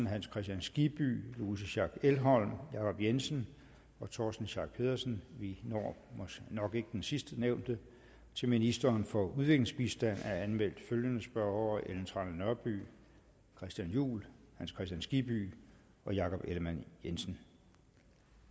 hans kristian skibby louise schack elholm jacob jensen torsten schack pedersen vi når nok ikke den sidstnævnte til ministeren for udviklingsbistand er anmeldt følgende spørgere ellen trane nørby christian juhl hans kristian skibby jakob ellemann jensen